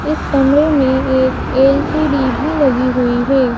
इस कमरे में एक ए_ल_सी_डी भी लगी हुई है।